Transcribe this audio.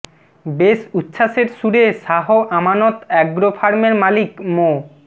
বেশ উচ্ছ্বাসের সুরে শাহ আমানত অ্যাগ্রো ফার্মের মালিক মো